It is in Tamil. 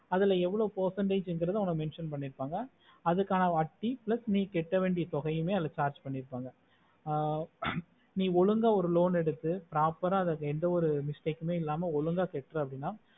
அதுல எவ்ளோ percentage குறது mention பண்ணிருப்பாங்க அதுக்கான வட்டி plus நீ கட்ட வேண்டிய தொகை அதுல charge பண்ணிருப்பாங்க ஆஹ் நீ ஒழுங்கா ஒரு loan எடுத்து proper ஆஹ் அத எந்த ஒரு mistake இல்லாம ஒழுங்கா கேற்ற அப்புடின்னா